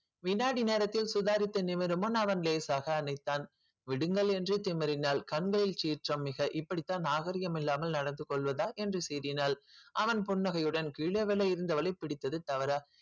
வினாடி நேரத்தில் சுதாரித்து நிமிருமுன் அவன் லேசாக அணைத்தான் விடுங்கள் என்று திமிறினால் கண்களில் சீற்றம் மிக இப்படித்தான் நாகரிகம் இல்லாமல் நடந்து கொள்வதா என்று சீறினாள் அவன் புன்னகையுடன் கீழே விழ இருந்தவளை பிடித்தது தவறா